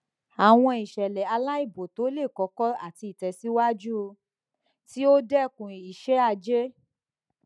awọn iṣẹlẹ ailabo to le koko ati itẹsiwaju ti o dẹkun iṣẹaje